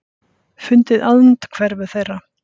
Fundið andhverfu þeirra.